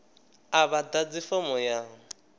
a vha ḓadzi fomo ya